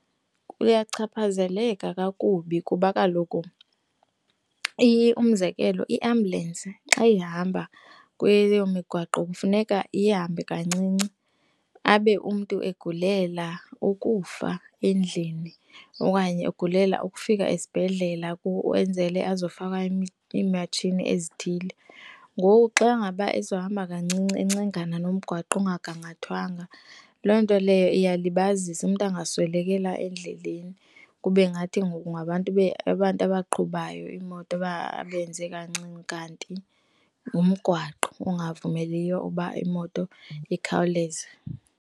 Kuyachaphazeleka kakubi kuba kaloku umzekelo, iiambhyulensi xa ihamba kweyo migwaqo funeka ihambe kancinci, abe umntu egulela ukufa endlini, okanye ugulela ukufika esibhedlela kwenzele azofaka iimatshini ezithile. Ngoku, xa ngaba ezohamba kancinci encengana nomgwaqo ongagangathwanga loo nto leyo iyalibazisa umntu angaswelekela endleleni, kube ngathi ngoku ngabantu abaqhubayo imoto aba abenze kancinci kanti ngumgwaqo ungavumeliyo uba imoto ikhawuleze.